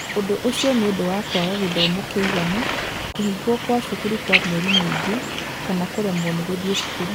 Ũndũ ũcio nĩ ũndũ wa kwaga gĩthomo kĩiganu, kũhingwo kwa cukuru kwa mĩeri mĩingĩ, kana kũremwo nĩ gũthiĩ cukuru.